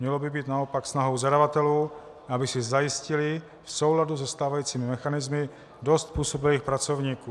Mělo by být naopak snahou zadavatelů, aby si zajistili v souladu se stávajícími mechanismy dost způsobilých pracovníků.